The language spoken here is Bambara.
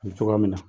cogoya min na